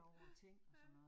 Ja, ja